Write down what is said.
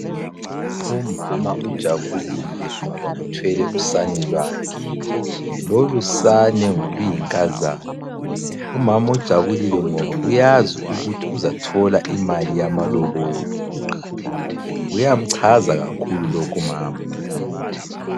Umama ujabulile ngoba uthwele usane lwakhe. Lolu sane ngoluyinkazana umama ujabulile ngoba uyazi ukuthi uzathola imali yamalobolo, kuyamchaza kakhulu lokhu umama.